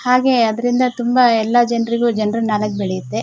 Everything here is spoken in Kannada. ಹಾಗೆ ಅದ್ರಿಂದ ತುಂಬಾ ಎಲ್ಲಾ ಜನ್ರಿಗೂ ಜನರಲ್ ನೊಲೆಡ್ಜ್ ಬೆಳೆಯುತ್ತೆ.